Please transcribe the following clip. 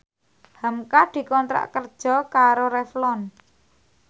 hamka dikontrak kerja karo Revlon